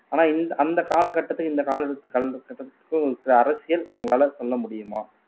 ஆனா இந்த அந்த காலகட்டத்துக்கு இந்த சில அரசியல் உங்களால சொல்ல முடியுமா